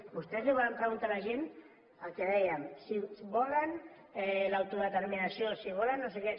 vostès volen preguntar a la gent el que dèiem si volen l’autodeterminació si volen no sé què